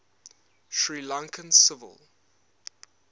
sri lankan civil